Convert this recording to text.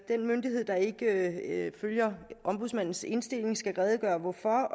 den myndighed der ikke følger ombudsmandens indstilling skal redegøre for